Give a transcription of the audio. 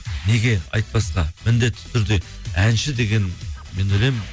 неге айтпасқа міндетті түрде әнші деген мен ойлаймын